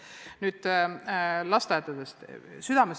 Südamest toetan!